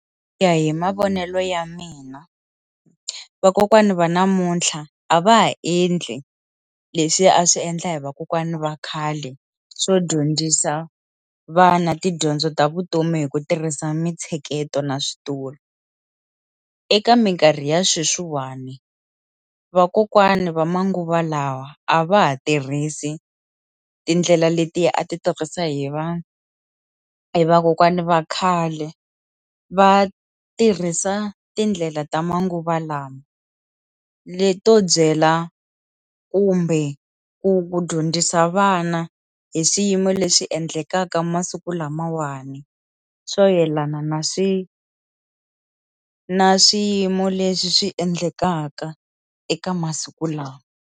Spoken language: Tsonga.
Ku ya hi mavonelo ya mina vakokwana va namuntlha a va ha endli leswi a swi endla hi vakokwana va khale swo dyondzisa vana tidyondzo ta vutomi hi ku tirhisa mitsheketo na switulu eka mikarhi ya sweswiwani vakokwani va manguva lawa a va ha tirhisi tindlela letiya a ti tirhisa hi vanhu hi vakokwana va khale va tirhisa tindlela ta manguva lawa leto byela kumbe ku dyondzisa vana hi swiyimo leswi endlekaka masiku lamawani swo yelana na swi na swiyimo leswi swi endlekaka eka masiku lawa.